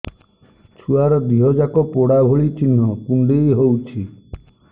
ଛୁଆର ଦିହ ଯାକ ପୋଡା ଭଳି ଚି଼ହ୍ନ କୁଣ୍ଡେଇ ହଉଛି